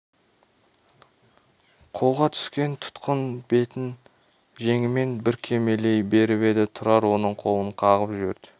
қолға түскен тұтқын бетін жеңімен бүркемелей беріп еді тұрар оның қолын қағып жіберді